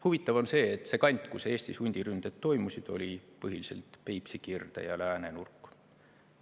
Huvitav on see, et see kant, kus Eestis hundiründed toimusid, oli põhiliselt Peipsi kirde‑ ja läänenurk.